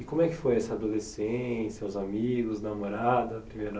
E como é que foi essa adolescência, os amigos, namorada, primeira